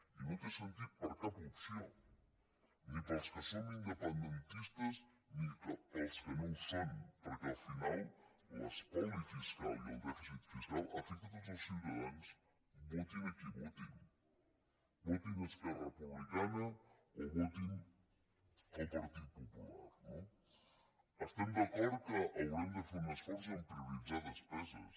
i no té sentit per a cap opció ni per als que som independentistes ni per als que no ho són perquè al final l’espoli fiscal i el dèficit fiscal afecta a tots els ciutadans votin qui votin votin esquerra republicana o votin el partit popular no estem d’acord que haurem de fer un esforç a prioritzar despeses